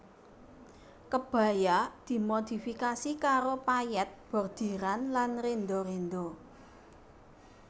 Kebaya dimodifikasi karo payèt bordiran lan renda renda